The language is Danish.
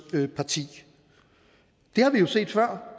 side det har vi jo set før